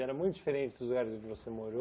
Era muito diferente dos lugares onde você morou?